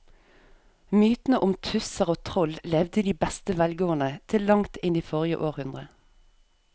Mytene om tusser og troll levde i beste velgående til langt inn i forrige århundre.